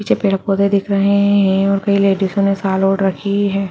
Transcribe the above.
पीछे पेड पौधे दिख रहे हैं और कई लेडिसो ने शाल ओढ़ रखी है।